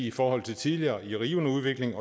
i forhold til tidligere i rivende udvikling